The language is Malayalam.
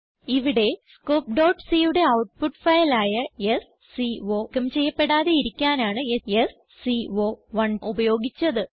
ഇവിടെ സ്കോപ്പ് c യുടെ ഔട്ട്പുട്ട് ഫയൽ ആയ സ്കോ നീക്കം ചെയ്യപ്പെടാതെയിരിക്കാനാണ് സ്കോ1 ഉപയോഗിച്ചത്